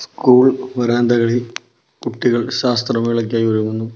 School വരാന്തകളിൽ കുട്ടികൾ ശാസ്ത്രമേളയ്ക്കായി ഒരുങ്ങുന്നു.